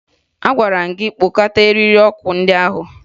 Agwara m gị kpota eriri ọkụ ndị ahụ!